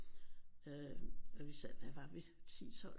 Øh og vi sad hvad var vi 10 12